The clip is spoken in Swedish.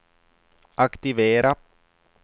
aktivera